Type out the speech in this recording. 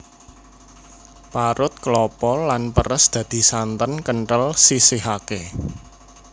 Parut klapa lan peres dadi santen kentel sisihake